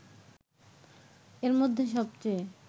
এর মধ্যে সবচেয়ে